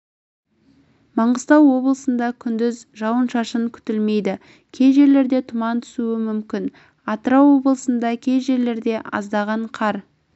маңғыстау облысында күндіз жауын-шашын күтілмейді кей жерлерде тұман түсуі мүмкін атырау облысында кей жерлерде аздаған қар